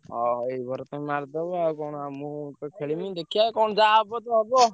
ଆଉ ଏଇ over ତ ମାରିଦବ ମୁଁ ତ ଖେଳିବିନି ଦେଖିଆ ଯାହା ହବ ତ ହବ।